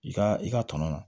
I ka i ka tɔnɔ